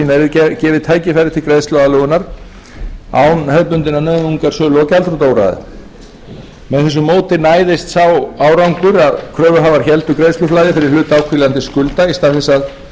gefið tækifæri til greiðsluaðlögunar án hefðbundinnar nauðungarsölu og gjaldþrotaúrræða með því móti næðist sá árangur að kröfuhafar héldu greiðsluflæði fyrir hlut áhvílandi skulda í stað þess að þurfa að afskrifa